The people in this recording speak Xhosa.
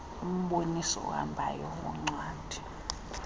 umboniso ohambayo woncwadi